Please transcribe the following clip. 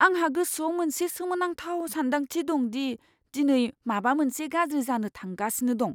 आंहा गोसोआव मोनसे सोमोनांथाव सान्दांथि दं दि दिनै माबा मोनसे गाज्रि जानो थांगासिनो दं।